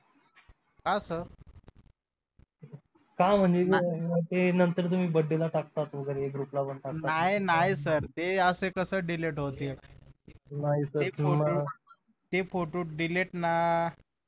का सर? नाही नाही सर ते अस कस delete होतील ते फोटो delete ना